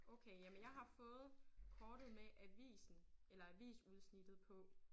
Okay jamen jeg har fået kortet med avisen eller avisudsnittet på